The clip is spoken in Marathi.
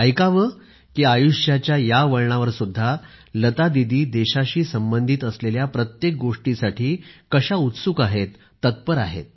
ऐकावे की आयुष्याच्या या वळणावरसुद्धा लतादिदी देशाशी संबंधित असलेल्या प्रत्येक गोष्टीसाठी उत्सुक आहेत तत्पर आहेत